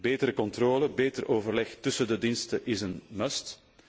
Betere controle, beter overleg tussen de diensten is een must